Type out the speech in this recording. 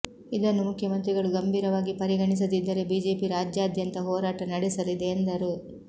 ಇದನ್ನು ಮುಖ್ಯಮಂತ್ರಿಗಳು ಗಂಭೀರವಾಗಿ ಪರಿಗಣಿಸದಿದ್ದರೆ ಬಿಜೆಪಿ ರಾಜ್ಯಾದ್ಯಂತ ಹೋರಾಟ ನಡೆಸಲಿದೆ ಎಂದರು